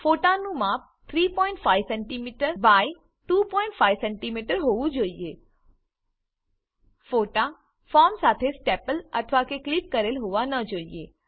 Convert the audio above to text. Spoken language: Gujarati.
ફોટાનું માપ 35સેમી એક્સ 25સેમી હોવું જોઈએ ફોટા ફોર્મ સાથે સ્ટેપલ અથવાકે ક્લિપ કરેલ હોવા ન જોઈએ